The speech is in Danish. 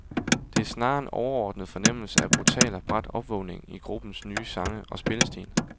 Det er snarere en overordnet fornemmelse af brutal og brat opvågning i gruppens nye sange og spillestil.